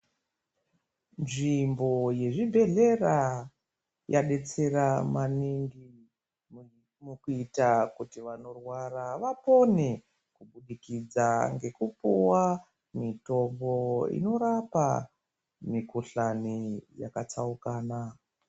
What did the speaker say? Nzvimbo yezvibhehlera yadetsera maningi mukuita kuti vanorwara vapone kubudikidza ngekupuwa mitombo inorapa mikuhlani yakatsaukana.